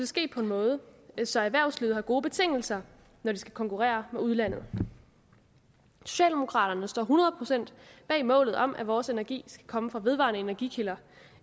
ske på en måde så erhvervslivet har gode betingelser når de skal konkurrere med udlandet socialdemokraterne står hundrede procent bag målet om at vores energi skal komme fra vedvarende energikilder